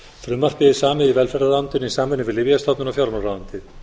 frumvarpið er samið í velferðarráðuneytinu í samvinnu við lyfjastofnun og fjármálaráðuneytið